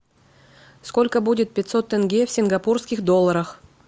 сколько будет пятьсот тенге в сингапурских долларах